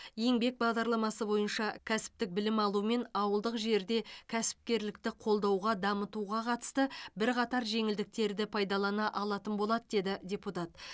еңбек бағдарламасы бойынша кәсіптік білім алу мен ауылдық жерде кәсіпкерлікті қолдауға дамытуға қатысты бірқатар жеңілдіктерді пайдалана алатын болады деді депутат